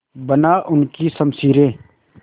बना उनकी शमशीरें